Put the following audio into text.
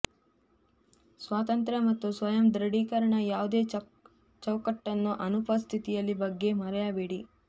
ಸ್ವಾತಂತ್ರ್ಯ ಮತ್ತು ಸ್ವಯಂ ದೃಢೀಕರಣ ಯಾವುದೇ ಚೌಕಟ್ಟನ್ನು ಅನುಪಸ್ಥಿತಿಯಲ್ಲಿ ಬಗ್ಗೆ ಮರೆಯಬೇಡಿ